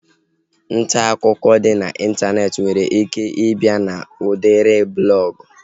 Ntaakụkọ dị n'Ịntanetị nwere ike ị bịa n'udiri blọgụ